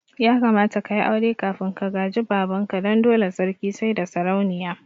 Ya kamata ka yi aure kafin ka gaji baban ka, dan dole sarki saida sarauniya